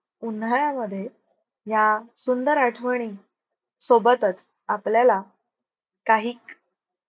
उन्हाळ्यामध्ये या सुंदर आठवणी सोबतच आपल्याला काही